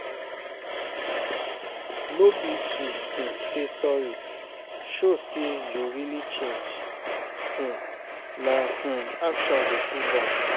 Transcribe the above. No be to um say sorry, show say you really change, um na um action go prove am.